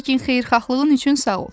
Lakin xeyirxahlığın üçün sağ ol.